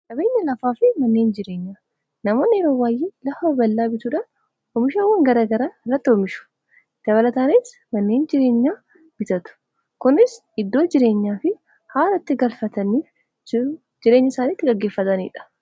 Qabeenya lafaa fi manneen jireenyaa namoonni yeroo baay'ee lafa bal'aa bituudhaan oomishaawwan garaa garaa irratti oomishu. Dabalataanis manneen jireenyaa bitatu. Kunis iddoo jireenyaa fi haara itti galfatanii jireenya isaanii itti gaggeeffatanidha.